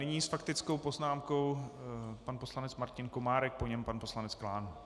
Nyní s faktickou poznámkou pan poslanec Martin Komárek, po něm pan poslanec Klán.